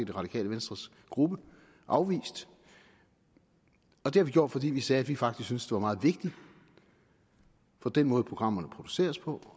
det radikale venstres gruppe afvist og det har vi gjort fordi vi sagde at vi faktisk var meget vigtigt for den måde programmerne produceres på